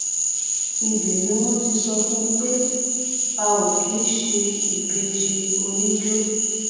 ibẹ ni wọn ti sọ fún wọn pé a ò kì í ṣe ìbejì oníjó